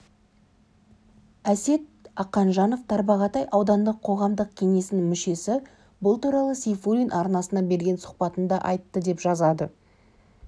әсет ақанжанов тарбағатай аудандық қоғамдық кеңесінің мүшесі бұл туралы сейфуллин арнасына берген сұхбатында айтты деп жазады